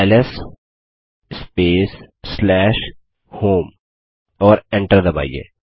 LS space home और enter दबाइए